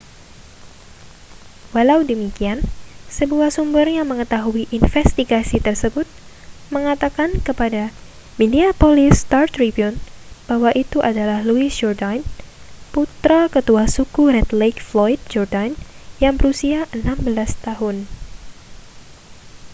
walau demikian sebuah sumber yang mengetahui investigasi tersebut mengatakan kepada minneapolis star-tribune bahwa itu adalah louis jourdain putra ketua suku red lake floyd jourdain yang berusia 16 tahun